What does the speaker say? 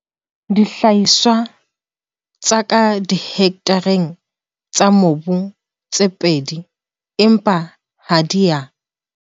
dihlahiswa tsa ka dihektareng tsa mobu tse pedi empa ha di a